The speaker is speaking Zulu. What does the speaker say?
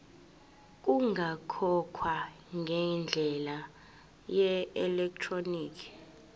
kungakhokhwa ngendlela yeelektroniki